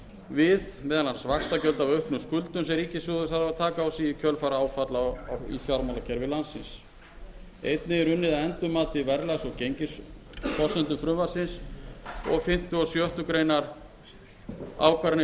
við meðal annars vaxtagjöld af auknum skuldum sem ríkissjóður þarf að taka á sig í kjölfar áfalla í fjármálakerfi landsins einnig er unnið að endurmati á verðlags og gengisforsendum frumvarpsins fimmta og sjöttu grein